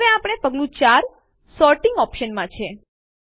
હવે આપણે પગલું ૪ સોર્ટિંગ ઓપ્શન્સ માં છીએ